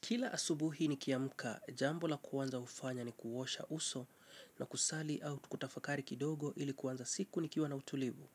Kila asubuhi nikiamka, jambo la kwanza hufanya ni kuosha uso na kusali au kutafakari kidogo ili kuanza siku nikiwa na utulivu.